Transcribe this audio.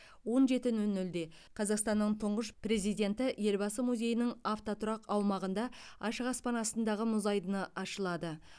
он жеті нөл нөлде қазақстанның тұңғыш президенті елбасы музейінің автотұрақ аумағында ашық аспан астындағы мұз айдыны ашылады